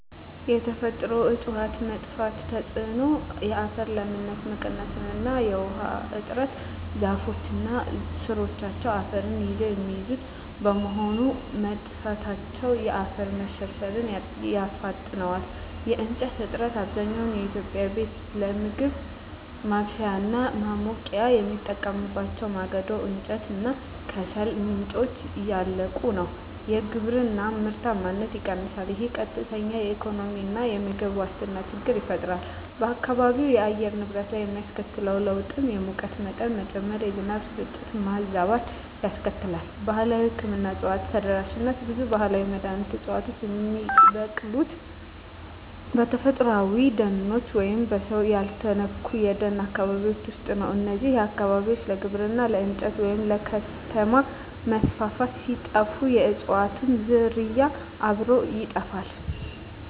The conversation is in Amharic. የተፈጥሮ እፅዋት መጥፋት ተጽዕኖ የአፈር ለምነት መቀነስ እና የውሃ እጥረ ዛፎች እና ሥሮቻቸው አፈርን ይዘው የሚይዙት በመሆኑ፣ መጥፋታቸው የአፈር መሸርሸርን ያፋጥነዋል። የእንጨት እጥረት፣ አብዛኛው የኢትዮጵያ ቤተሰብ ለምግብ ማብሰያ እና ለማሞቂያ የሚጠቀምባቸው የማገዶ እንጨት እና ከሰል ምንጮች እያለቁ ነው። የግብርና ምርታማነት ይቀንሳል፣ ይህም ቀጥተኛ የኢኮኖሚና የምግብ ዋስትና ችግር ይፈጥራል። በአካባቢው የአየር ንብረት ላይ የሚያስከትለው ለውጥ የሙቀት መጠን መጨመር፣ የዝናብ ስርጭት መዛባት ያስከትላል። ባህላዊ የሕክምና እፅዋት ተደራሽነት ብዙ ባህላዊ መድኃኒት ዕፅዋት የሚበቅሉት በተፈጥሮአዊ ደኖች ወይም በሰው ያልተነኩ የደን አካባቢዎች ውስጥ ነው። እነዚህ አካባቢዎች ለግብርና፣ ለእንጨት ወይም ለከተማ መስፋፋት ሲጠፉ፣ የእፅዋቱም ዝርያ አብሮ ይጠፋል።